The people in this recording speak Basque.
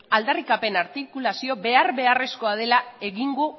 aldarrikapen artikulazioa behar beharrezkoa dela egungo